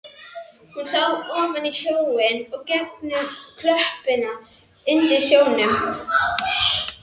Hún sá ofan í sjóinn og gegnum klöppina undir sjónum.